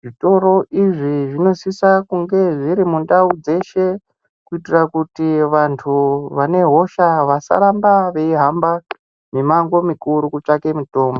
zvitoro izvi zvinosisa kunge zviri mundau dzeshe. Kuitira kuti vantu vane hosha vasaramba veihamba mimango mikuru kutsvake mitombo.